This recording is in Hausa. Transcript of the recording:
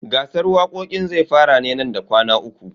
Gasar waƙoƙin zai fara ne nan da kwana uku.